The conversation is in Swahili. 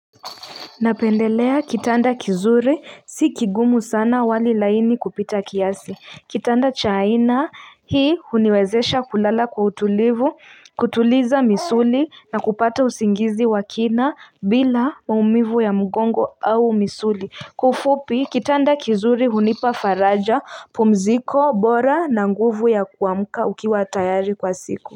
Napendelea kitanda kizuri si kigumu sana wali laini kupita kiasi kitanda cha aina hii huniwezesha kulala kwa utulivu kutuliza misuli na kupata usingizi wa kina bila maumivu ya mgongo au misuli kwa ufupi kitanda kizuri hunipa faraja pumziko bora na nguvu ya kuamka ukiwa tayari kwa siku.